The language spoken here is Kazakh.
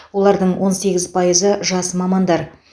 олардың он сегіз пайызы жас мамандар